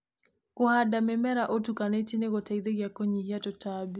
Kũhanda mĩmera ũtukanĩtie nĩgũteithagia kũnyihia tũtambi.